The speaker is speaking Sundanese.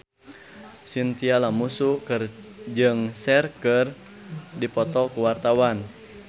Chintya Lamusu jeung Cher keur dipoto ku wartawan